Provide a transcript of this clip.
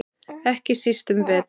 Ekki síst um vetur.